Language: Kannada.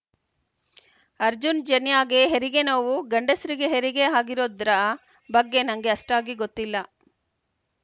ಅರ್ಜುನ್‌ ಜನ್ಯಾಗೆ ಹೆರಿಗೆ ನೋವು ಗಂಡಸ್ರಿಗೆ ಹೆರಿಗೆ ಆಗಿರೋದ್ರ ಬಗ್ಗೆ ನಂಗೆ ಅಷ್ಟಾಗಿ ಗೊತ್ತಿಲ್ಲ